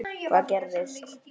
Hvað gerist?